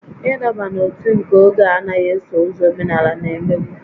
Ịdọba n'ótú nke oge a anaghị eso ụzọ omenala na-emebu